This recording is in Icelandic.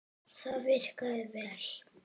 Það virkaði vel.